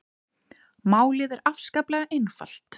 Málið er afskaplega einfalt